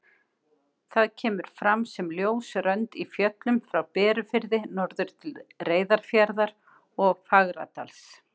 Það kemur fram sem ljós rönd í fjöllum frá Berufirði norður til Reyðarfjarðar og Fagradals.